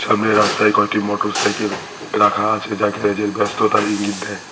সামনে রাস্তায় কয়েকটি মটর সাইকেল রাখা আছে যা গ্যারেজ এর ব্যস্ততার ইঙ্গিত দেয়।